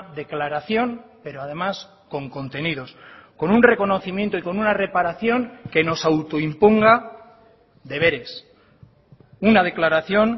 declaración pero además con contenidos con un reconocimiento y con una reparación que nos autoimponga deberes una declaración